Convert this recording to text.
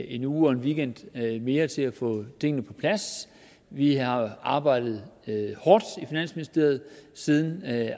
en uge og en weekend mere til at få tingene på plads vi har arbejdet hårdt i finansministeriet siden